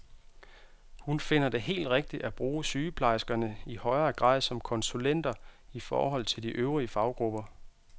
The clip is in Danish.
Hun finder det helt rigtigt at bruge sygeplejerskerne i højere grad som konsulenter i forhold til de øvrige faggrupper.